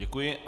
Děkuji.